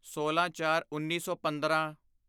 ਸੋਲਾਂਚਾਰਉੱਨੀ ਸੌ ਪੰਦਰਾਂ